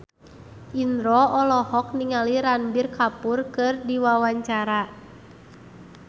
Indro olohok ningali Ranbir Kapoor keur diwawancara